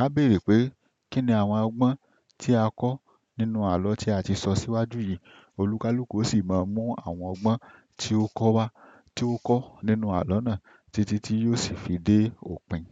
A béèrè pé kíni àwọn ọgbọ́n tí a kọ́ nínú àlọ́ tí a ti sọ síwájú yìí? Òlúkalúkù ó sì máa mú àwọn ọgbọ́n tí ó kọ́ wá, tí ó kọ́ nínú àlọ́ náà títí tí yóò sì fi dé òpin.